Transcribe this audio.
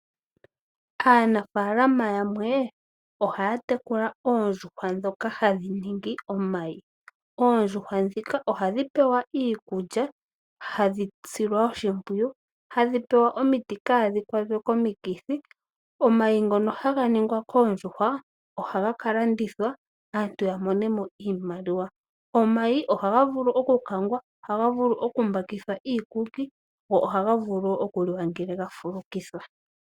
Aanafaalama yamwe ohaya tekula oondjuhwa ndhoka hadhi vala omayi. Oondjuhwa ndhika ohadhi pewa iikulya hadhi silwa oshipwiyu, hadhi pewa omiti kaadhi kwatwe komikithi. Omayi ngono haga valwa koondjuhwa ohaga kalandithwa aantu yamonemo iimaliwa. Omayi ohaga vulu oku kangwa, ohaga vulu okumbakithwa iikuki go ohaga vule okuliwa ngele gafulukithwa.